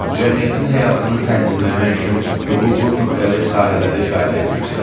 Cəmiyyətin həyatını tənzimləmək üçün hüququn müxtəlif sahələri fəaliyyət göstərir.